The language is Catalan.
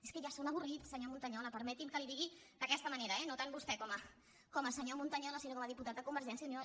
és que ja són avorrits senyor montañola permeti’m que li ho digui d’aquesta manera eh no tant a vostè com a senyor montañola sinó com a diputat de convergència i unió